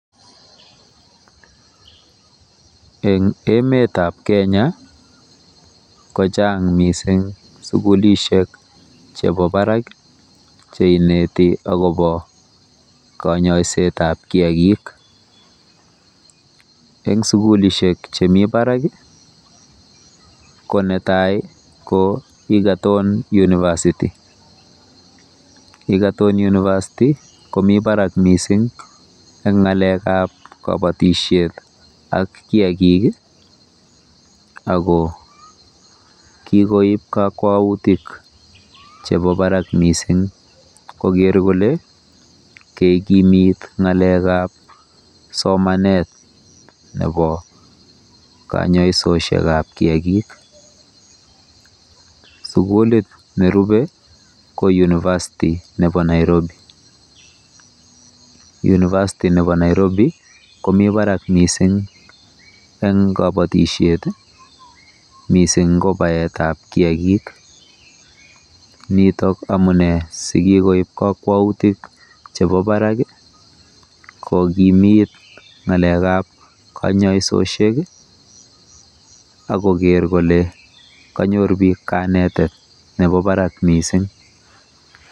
Eng emetab Kenya kochang mising sukulishek chebo barak cheineti akobo kanyoisetab kiagik. Eng sukulisiek chemi barak ko netai ko Egerton University. Egerton University komi barak mising eng ng'alekab kabatishiet ak kiagik ako kikoib kakwautik chebo barak misingkoker kole kekimit ng'alekab somanet nebo kayoisoshekab kiagik. Sukulit nerubei ko University nebo Nairobi. University nebo Nairobi komi barak mising eng kobotishet mising ko baetab kiagik. Nitok amune sikikoib kakwautik chebo barak kokimit ng'alekab kanyoisishek akoker kole kanyor bik kanetet nebo barak mising.